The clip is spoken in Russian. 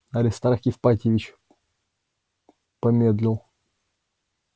аристарх ипатьевич помедлил